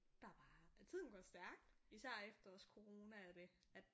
Der bare tiden går stærkt især efter også corona og det at